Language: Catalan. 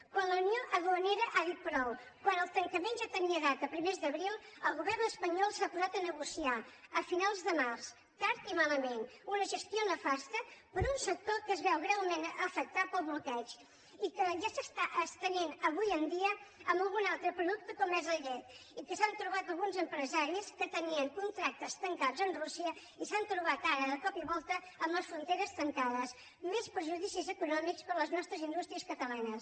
quan la unió duanera ha dit prou quan el tancament ja tenia data a primers d’abril el govern espanyol s’ha posat a negociar a finals de març tard i malament una ges·tió nefasta per a un sector que es veu greument afectat pel bloqueig i que ja s’està estenent avui en dia a algun altre producte com és la llet i alguns empresaris que tenien contractes tancats amb rússia s’han trobat ara de cop i volta amb les fronteres tancades més perju·dicis econòmics per a les nostres indústries catalanes